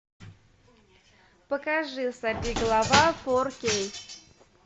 покажи сорвиголова фор кей